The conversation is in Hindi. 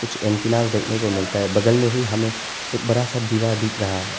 एंटीना से देखने को मिलता है बगल में ही हमें एक बड़ा सा दीवार दिख रहा है।